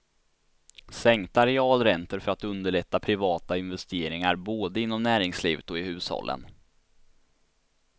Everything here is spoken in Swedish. Sänkta realräntor för att underlätta privata investeringar, både inom näringslivet och i hushållen.